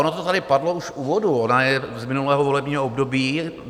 Ono to tady padlo už v úvodu, ona je z minulého volebního období.